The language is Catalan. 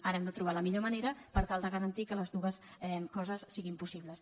ara hem de trobar la millor manera per tal de garantir que les dues coses siguin possibles